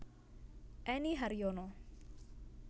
Enny Haryono